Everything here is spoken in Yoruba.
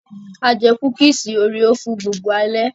A jẹ kúkísì òréò fún gbogbo alẹ́.